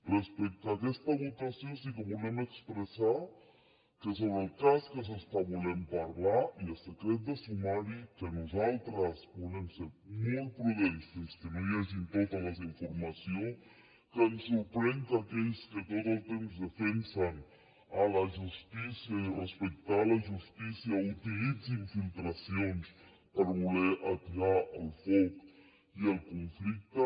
respecte a aquesta votació sí que volem expressar que sobre el cas que s’està volent parlar hi ha secret de sumari que nosaltres volem ser molt prudents fins que no hi hagi tota la informació que ens sorprèn que aquells que tot el temps defensen la justícia i respectar la justícia utilitzin filtracions per voler atiar el foc i el conflicte